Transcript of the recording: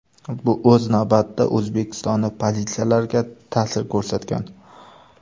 Bu o‘z navbatida O‘zbekistonning pozitsiyalariga ta’sir ko‘rsatgan.